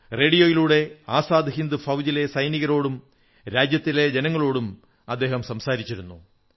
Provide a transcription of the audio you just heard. റേഡിയോയിലൂടെ ആസാദ് ഹിന്ദ് ഫൌജിലെ സൈനികരോടും രാജ്യത്തെ ജനങ്ങളോടും സംവദിച്ചിരുന്നു